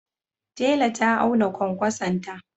Tela ta auna kwankwasonta.